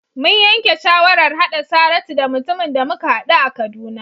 Mun yanke shawarar haɗa Saratu da mutumin da muka haɗu a Kaduna.